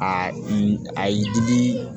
Aa i digi